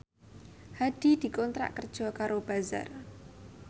Hadi dikontrak kerja karo Bazaar